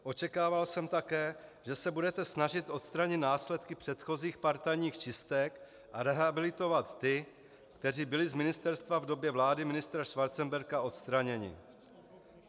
Očekával jsem také, že se budete snažit odstranit následky předchozích partajních čistek a rehabilitovat ty, kteří byli z ministerstva v době vlády ministra Schwarzenberga odstraněni.